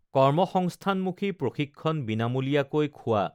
কৰ্মসংস্থানমুখী প্ৰশিক্ষণ বিনামূলীয়াকৈ খোৱা